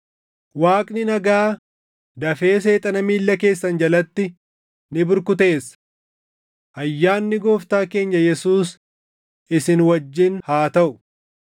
Waaqni nagaa dafee Seexana miilla keessan jalatti ni burkuteessa. Ayyaanni Gooftaa keenya Yesuus isin wajjin haa taʼu.